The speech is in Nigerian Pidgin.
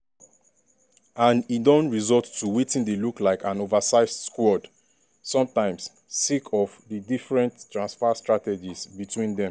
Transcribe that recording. and e don result to wetin dey look like an oversized squad sometimes sake of di different transfer strategies between dem.